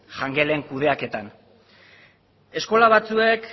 jangelen kudeaketan eskola batzuek